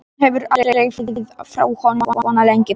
Hún hefur aldrei áður farið frá honum svona lengi.